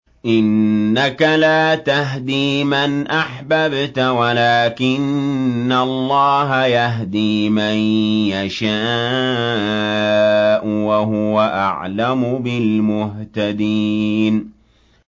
إِنَّكَ لَا تَهْدِي مَنْ أَحْبَبْتَ وَلَٰكِنَّ اللَّهَ يَهْدِي مَن يَشَاءُ ۚ وَهُوَ أَعْلَمُ بِالْمُهْتَدِينَ